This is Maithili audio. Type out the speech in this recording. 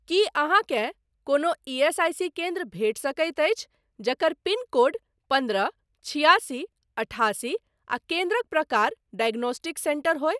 की अहाँकेँ कोनो ईएसआईसी केन्द्र भेटि सकैत अछि जकर पिनकोड पन्द्रह छिआसी अठासी आ केन्द्रक प्रकार डायग्नोस्टिक सेंटर होय।